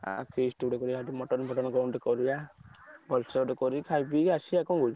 ଆଉ feast ଗୋଟେ କରିଆ mutton ଫଟନ କଣ ଗୋଟେ କରିଆ ଗୋଟେ କରିକି ଖାଇ ପଈ ଆସିଆ ଆଉ କଣ କହୁଚୁ?